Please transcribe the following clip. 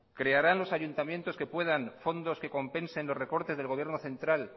crearán los ayuntamientos que puedan fondos que compensen los recortes del gobierno central